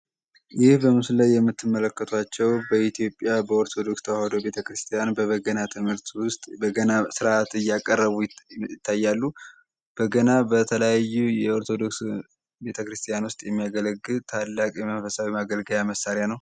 ይህ በምስሉ ላይ የምትመለከቱት በኢትዮጵያ ኦርቶዶክስ ተዋሕዶ ቤተክርስቲያን የሚጠቀሙበት በገና ትምህርት ዉሰጥ በገና እያቀረቡ ይታያል።